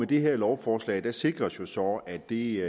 det her lovforslag sikres jo så at det